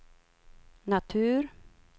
natur